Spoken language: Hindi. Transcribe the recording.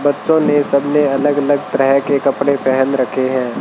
बच्चों ने सब ने अलग अलग तरह के कपड़े पेहन रखे हैं।